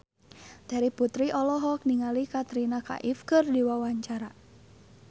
Terry Putri olohok ningali Katrina Kaif keur diwawancara